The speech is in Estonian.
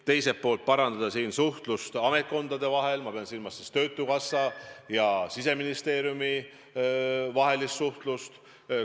Teiselt poolt me püüame parandada suhtlust ametkondade vahel – ma pean silmas töötukassa ja Siseministeeriumi vahelist suhtlust.